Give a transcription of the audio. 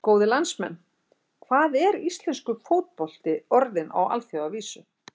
Góðir landsmenn, hvað er íslenskur fótbolti orðinn á alþjóðavísu?